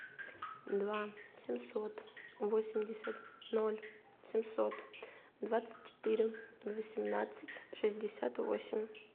два семьсот восемьдесят ноль семьсот двадцать четыре восемнадцать шестьдесят восемь